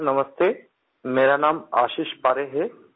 sir नमस्ते मेरा नाम आशीष पारे है